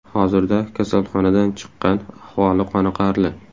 Hozirda kasalxonadan chiqqan, ahvoli qoniqarli.